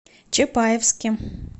чапаевске